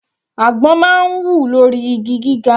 Àgbọn máa ń wù lórí igi gíga.